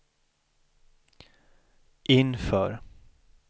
inför